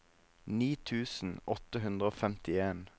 ni tusen åtte hundre og femtien